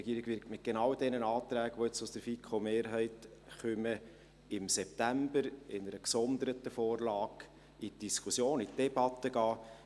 Die Regierung wird genau mit den Anträgen, die jetzt aus der FiKo-Mehrheit kommen, im September in einer gesonderten Vorlage in die Diskussion, in die Debatte gehen.